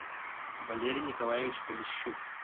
валерий николаевич полищук